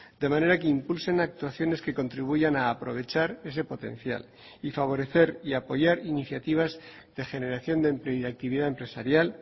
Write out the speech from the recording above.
de manera que impulsen actuaciones que contribuyan a aprovechar ese potencial y favorecer y apoyar iniciativas de generación de empleo y de actividad empresarial